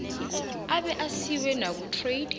abe asiwe nakutrade